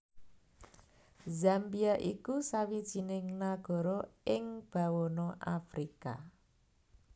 Zambia iku sawijining nagara ing bawana Afrika